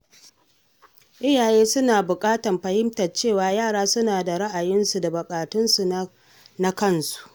Iyaye suna buƙatar fahimtar cewa yara suna da ra’ayoyinsu da buƙatunsu na kansu.